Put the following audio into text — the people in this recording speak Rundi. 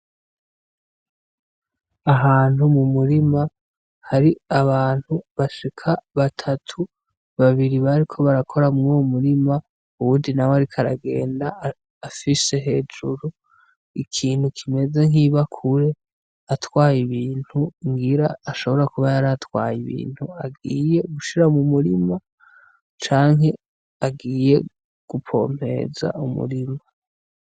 Ahantu mu murima har'abantu bashika batatu, babiri bariko barakora mur'uwo murima; uwundi nawe ariko aragenda afise hejuru ikintu kimeze nk'ibakure atwaye ibintu, ngira ashobora kuba yaratwaye ibintu agiye gushira mu murima canke agiye gupompereza umurima.